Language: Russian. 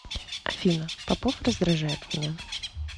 афина попов раздражает меня